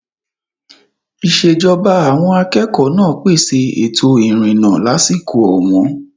Ìṣèjọba àwọn akẹ́kọ̀ọ́ náà pèsè ètò ìrìnnà lásìkò ọ̀wọ́n.